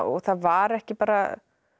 það var ekki bara